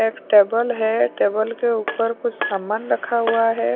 एक टेबल है टेबल के ऊपर कुछ सामान रखा हुआ है।